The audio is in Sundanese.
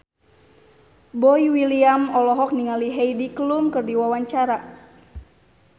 Boy William olohok ningali Heidi Klum keur diwawancara